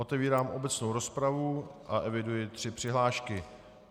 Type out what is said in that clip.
Otevírám obecnou rozpravu a eviduji tři přihlášky.